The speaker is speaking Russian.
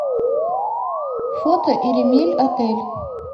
фото иремельотель